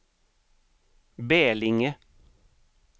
Bälinge